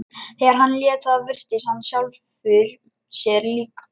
Þegar hann hélt þaðan virtist hann sjálfum sér líkastur.